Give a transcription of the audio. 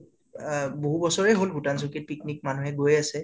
অহ বাহুত বছৰে হল ভূটান চৌকিত picnic মানুহে গৈ আছে